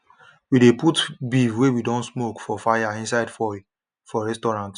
we de put beef wey we don smoke for fire inside foil for restaurants